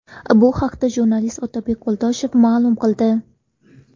Bu haqda jurnalist Otabek Qo‘ldoshev ma’lum qildi.